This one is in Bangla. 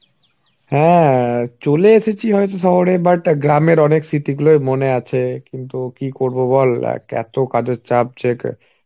হ্যাঁ চলে এসেছি হয়তো শহরে but গ্রামের অনেক স্মৃতিগুলোই মনে আছে. কিন্তু কি করবো বল এত কাজের চাপ যে